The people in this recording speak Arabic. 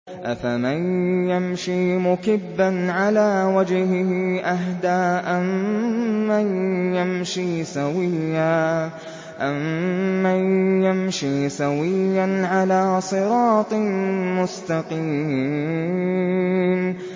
أَفَمَن يَمْشِي مُكِبًّا عَلَىٰ وَجْهِهِ أَهْدَىٰ أَمَّن يَمْشِي سَوِيًّا عَلَىٰ صِرَاطٍ مُّسْتَقِيمٍ